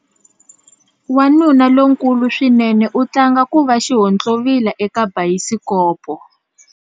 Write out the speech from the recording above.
Wanuna lonkulu swinene u tlanga ku va xihontlovila eka bayisikopo.